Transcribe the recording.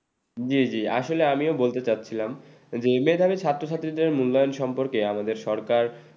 জী জী আসলে আমিও বলতে চাচ্ছিলাম যে মেধাবী ছাত্রছাত্রীদের মূল্যায়ন সম্পর্কে আমাদের সরকার